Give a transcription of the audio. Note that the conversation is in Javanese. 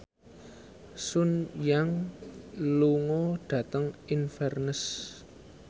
Sun Yang lunga dhateng Inverness